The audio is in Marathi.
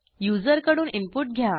युजरकडून इनपुट घ्या